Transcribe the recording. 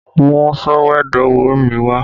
Mú sọ̀wédowó mi wá!